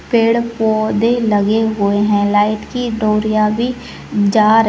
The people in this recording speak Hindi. पेड़ पौधे लगे हुए है लाईट की डोरिया बी जा र --